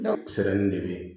de bɛ yen